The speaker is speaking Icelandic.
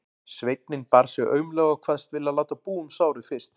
Sveinninn bar sig aumlega og kvaðst vilja láta búa um sárið fyrst.